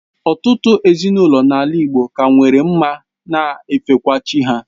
Ụtụtụ ezinaụlọ n'ala igbo ka nwere ma na efekwa chi ha.